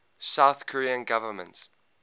south korean government